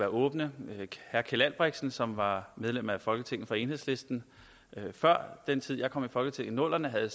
åbne herre keld albrechtsen som var medlem af folketinget for enhedslisten før den tid jeg kom i folketinget i nullerne havde